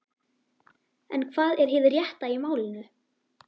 En hvað er hið rétta í málinu?